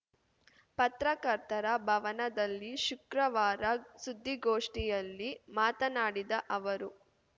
ಪತ್ರಕರ್ತರ ಭವನದಲ್ಲಿ ಶುಕ್ರವಾರ ಸುದ್ದಿಗೋಷ್ಠಿಯಲ್ಲಿ ಮಾತನಾಡಿದ ಅವರು